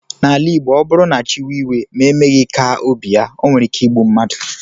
N'ala igbo ọbụrụ na chi wee iwe ma emeghi ka obi ya onwere ike igbụ mmadu.